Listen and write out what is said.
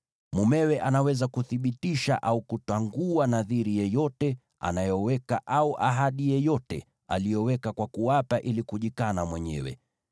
Mumewe anaweza kuthibitisha au kutangua nadhiri yoyote anayoweka, au ahadi yoyote aliyoweka kwa kuapa ili kujikana mwenyewe.